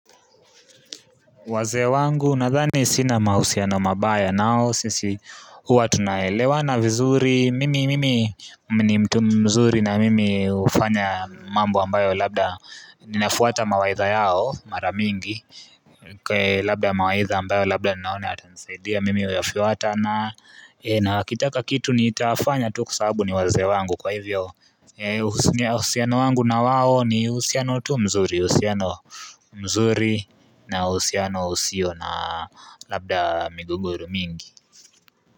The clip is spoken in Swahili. Wazee wangu, nadhani sina mahusiano mabaya nao, sisi huwa tunaelewana vizuri, mimi mimi ni mtu mzuri na mimi hufanya mambo ambayo labda ninafuata mawaidha yao, mara mingi Kwa labda mawaidha ambayo labda ninaona yatanisaidia mimi huyafiuata na wakitaka kitu nitafanya tu kwa sababu ni wazee wangu kwa hivyo Usunye uhusiano wangu na wao ni uhusiano tu mzuri uhusiano mzuri na uhusiano usio na labda migogoro mingi.